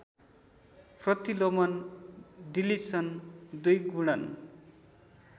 प्रतिलोमन deletion द्विगुणन